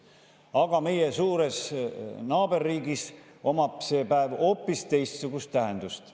Aga meie suures naaberriigis omab see päev hoopis teistsugust tähendust.